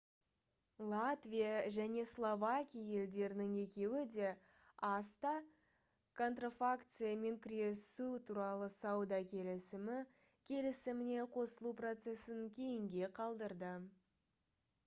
латвия және словакия елдерінің екеуі де acta контрафакциямен күресу туралы сауда келісімі келісіміне қосылу процесін кейінге қалдырды